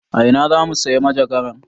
A ina zamu sayi majagaran?